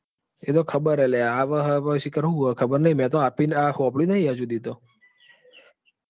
એ તો ખબર હે લ્યા આવે છે લ્યા મેં તો આપી સાંભળ્યું નહિ હજુ સુધી તો.